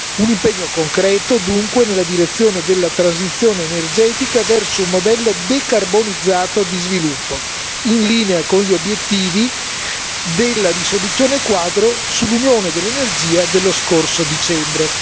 Un impegno concreto, dunque, nella direzione della transizione energetica verso un modello decarbonizzato di sviluppo, in linea con gli obiettivi della risoluzione quadro sull'Unione dell'energia dello scorso dicembre.